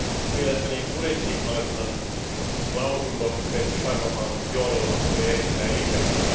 Mielestäni myös budjettivaliokunnan lausunto Petri Sarvamaan johdolla oli erittäin linjakas.